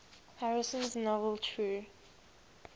harrison's novel true